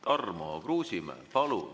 Tarmo Kruusimäe, palun!